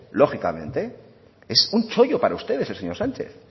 lógicamente es un chollo para ustedes el señor sánchez